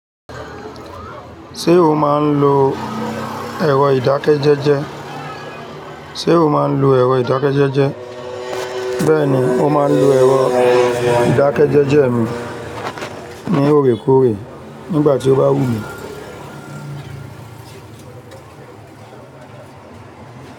Ṣé o máa n lo èro ìdákẹ́jẹ́jẹ́? Ṣé o máa n lo èro ìdákẹ́jẹ́jẹ́? Bẹ́ẹ̀ni, mo máa n lo èro ìdákẹ́jẹ́jẹ́ mi ní òrekoore nígbà tí ó bá wù mí.